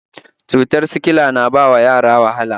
Cutar sikila na bawa yara wahala